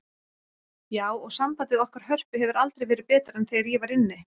Já, og sambandið okkar Hörpu hefur aldrei verið betra en þegar ég var inni.